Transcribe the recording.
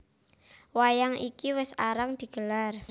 Wayang iki wis arang digelar